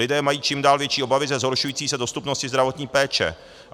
Lidé mají čím dál větší obavy ze zhoršující se dostupnosti zdravotní péče.